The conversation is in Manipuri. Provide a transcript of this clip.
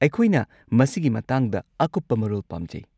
ꯑꯩꯈꯣꯏꯅ ꯃꯁꯤꯒꯤ ꯃꯇꯥꯡꯗ ꯑꯀꯨꯞꯄ ꯃꯔꯣꯜ ꯄꯥꯝꯖꯩ꯫